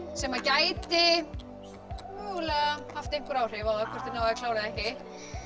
sem gæti mögulega haft einhver áhrif á það hvort þið náið að klára eða ekki